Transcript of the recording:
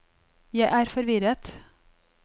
jeg er forvirret